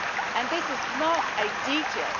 And this is not a detail